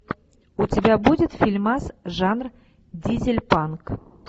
у тебя будет фильмас жанр дизельпанк